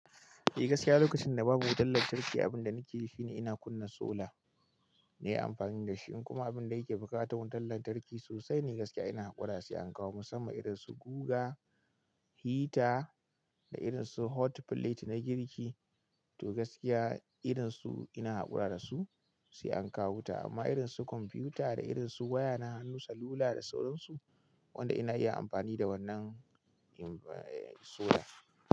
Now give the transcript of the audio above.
Eh gaskiya lokacin da babu wutan lantarki abin da nake yi shine ina kunna solar ne amfani da shi in kuma abin da yake buƙata wutan lantarki sosai ne gaskiya ina haƙura sai an kawo musamman irin su guga, hita da irin su hotplate na girki to gaskiya irin su ina haƙura da su sai an kawo wuta amma irin su kwamfiyuta da irin su waya na hannu salula da sauransu wanda ina iya amfani da wannan solar.